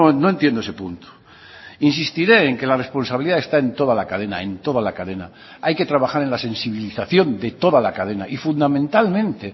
no entiendo ese punto insistiré en que la responsabilidad está en toda la cadena en toda la cadena hay que trabajar en la sensibilización de toda la cadena y fundamentalmente